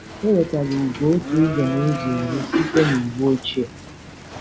Ewetara ugwo otu ụzọ nụzọ iri site niwu ochie